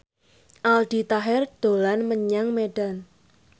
Aldi Taher dolan menyang Medan